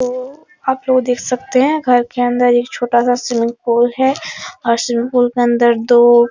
तो आप लोग देख सकते है घर के अंदर एक छोटा सा स्विमिंग पूल है और स्विमिंग पूल के अंदर दो --